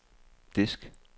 disk